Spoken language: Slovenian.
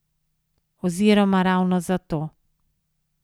Oziroma ravno zato.